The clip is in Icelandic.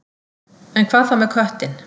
En hvað þá með köttinn?